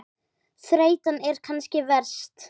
Þreytan er kannski verst.